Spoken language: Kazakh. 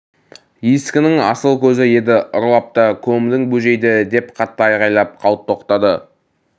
ескінің асыл көзі еді ұрлап та көмдің бөжейді деп қатты айғайлап қалт тоқтады